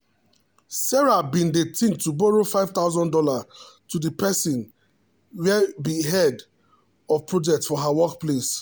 sarah bin dey think to borrow five thousand dollars to the person where be the head of projects for her work place